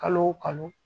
Kalo o kalo